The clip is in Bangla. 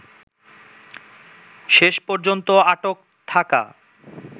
শেষ পর্যন্ত আটক থাকা